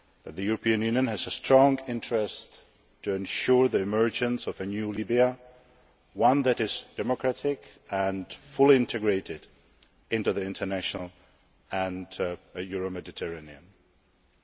The European Union has a strong interest in ensuring the emergence of a new Libya, one that is democratic and fully integrated into the international community and the Euro Mediterranean region.